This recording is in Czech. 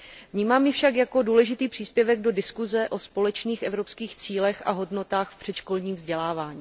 Vnímám ji však jako důležitý příspěvek do diskuse o společných evropských cílech a hodnotách v předškolním vzdělávání.